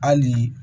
Hali